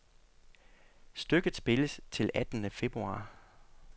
Stykket spilles til attende februar.